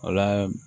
O la